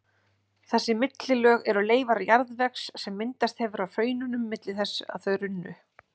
Þessi millilög eru leifar jarðvegs sem myndast hefur á hraununum milli þess að þau runnu.